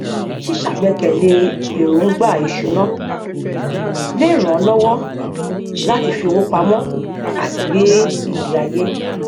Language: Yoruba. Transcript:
ṣíṣàgbékalẹ èròngbà ìṣúná lè ràn ọ lọwọ láti fi owó pamọ àti gbé ìgbéayé